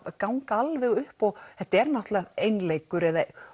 ganga alveg upp og þetta er náttúrulega einleikur